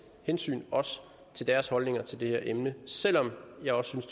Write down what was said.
hensyn til deres holdninger til det her emne selv om jeg også synes